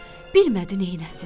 Bilmədi neyləsin.